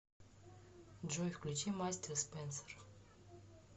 джой включи мастер спенсор